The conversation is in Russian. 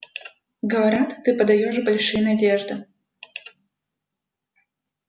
говорят ты подаёшь большие надежды